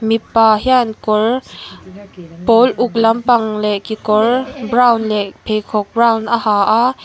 mipa hian kawr pawl uk lampang leh kekawr brown leh pheikhawk brown a ha a.